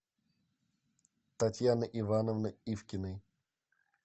татьяны ивановны ивкиной